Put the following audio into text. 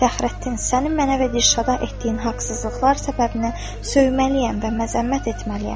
Fəxrəddin, səni mənə və Dilşada etdiyin haqsızlıqlar səbəbinə söyməliyəm və məzəmmət etməliyəm.